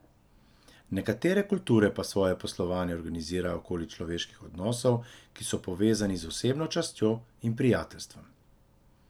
Nekatere kulture pa svoje poslovanje organizirajo okoli človeških odnosov, ki so povezani z osebno častjo in prijateljstvom.